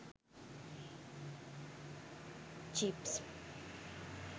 jeeps